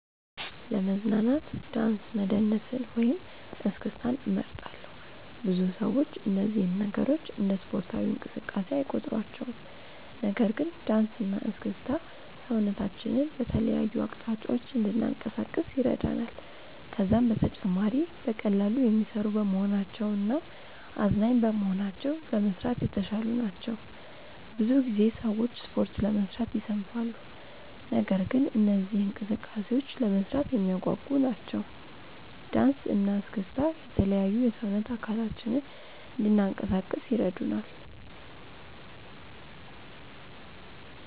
ለመዝናናት ዳንስ መደነስን ወይም እስክስታን እመርጣለሁ። ብዙ ሰዎች እነዚህን ነገሮች እንደ ስፖርታዊ እንቅስቃሴ አይቆጥሯቸውም። ነገር ግን ዳንስ እና እስክስታ ሰውነታችንን በተለያዩ አቅጣጫዎች እንድናንቀሳቅስ ይረዳናል። ከዛም በተጨማሪ በቀላሉ የሚሰሩ በመሆናቸው እናም አዝናኝ በመሆናቸው ለመስራት የተሻሉ ናቸው። ብዙ ጊዜ ሰዎች ስፖርት ለመስራት ይሰንፋሉ። ነገር ግን እነዚህ እንቅስቃሴዎች ለመስራት የሚያጓጉ ናቸው። ዳንሰ እና እስክስታ የተለያዩ የሰውነት አካላችንን እንናንቀሳቀስ ይረዱናል።